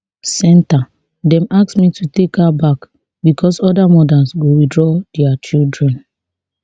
[centre] dem ask me to take her back becos oda mothers go withdraw dia children